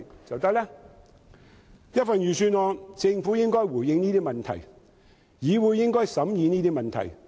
政府應在預算案內回應這些問題，而議會應審議這些問題。